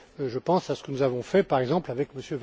Je pense à ce que nous avons fait, par exemple, avec M.